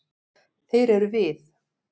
Þeir eru við.